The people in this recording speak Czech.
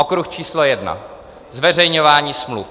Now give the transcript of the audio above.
Okruh číslo jedna: zveřejňování smluv.